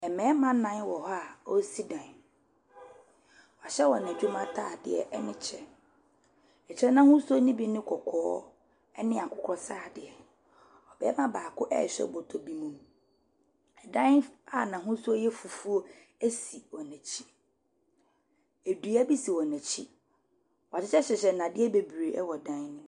Mmarima nnan wɔ hɔ a wɔresi dan. Wɔahyɛ wɔn adwuma atadeɛ ne kyɛ. Ɛkyɛ no ahosuo no bi ne kɔkɔɔ ne akokɔsradeɛ. Barima baako rehwɛ bɔtɔ bi mu. Ɛdan f . A n'ahosuo yɛ fufuo si wɔn akyi. Dua bi si wɔn akyi. Wɔahyehyɛhyehyɛ nnadeɛ bebree wɔ dan no mu.